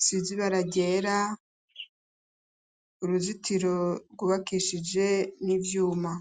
isize ibara ryera, uruzitiro rwubakishije n'ivyuma.